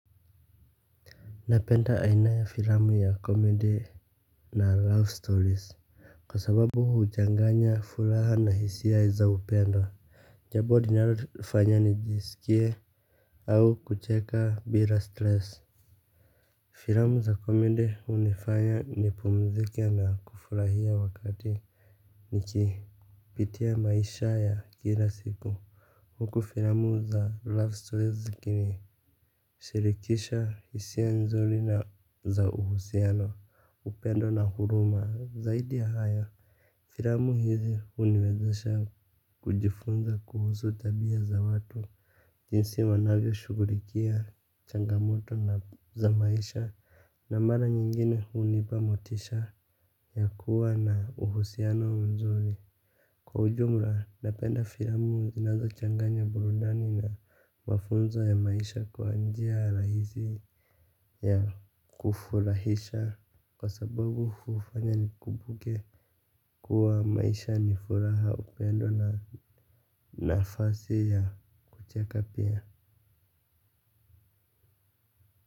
Napenda aina ya filamu ya comedy na love stories kwa sababu huchanganya furaha na hisia za upendo. Jambo linalo nifanya nijisikie au kucheka bila stress. Filamu za comedy hunifanya nipumzike na kufurahia wakati niki pitia maisha ya kila siku. Huku filamu za love stories zikini sirikisha hisia nzuri na za uhusiano upendo na huruma zaidi ya haya. Filamu hizi huniwezesha kujifunza kuhusu tabia za watu. Jinsi wanavyo shughulikia changamoto za maisha. Na mara nyingine hunipa motisha yakuwa na uhusiano nzuri. Kwa ujumla napenda filamu zinazo changanya burudani na mafunzo ya maisha kwa njia rahisi ya kufurahisha. Kwa sababu hufanya ni kumbuke kuwa maisha ni furaha upendo na nafasi ya kucheka pia.